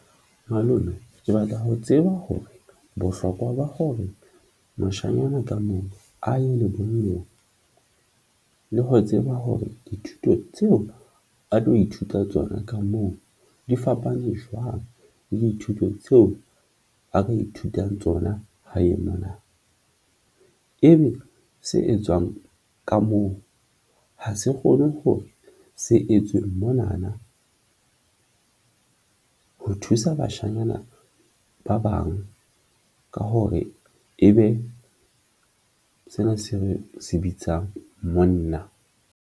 Malome ke batla ho tseba hore bohlokwa ba hore moshanyana ka mong a ye lebollong le ho tseba hore dithuto tseo a tlo ithuta tsona ka moo di fapane jwang le dithuto tseo a ka ithutang tsona hae mona. Ebe se etswang ka moo ha se kgone hore se etswe monana ho thusa bashanyana ba bang ka hore e be sena se re se bitsang monna?